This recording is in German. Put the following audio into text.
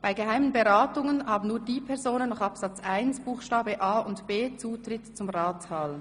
Bei geheimen Beratungen haben nur die Personen nach Absatz 1 Buchstabe a und b Zutritt zum Ratssaal.